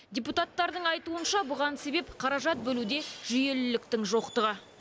депутаттардың айтуынша бұған себеп қаражат бөлуде жүйеліліктің жоқтығы